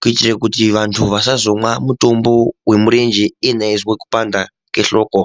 kuitire kuti vantu vasazomwa mutombo wemurenje iyena eizwa kupanda kwehloko.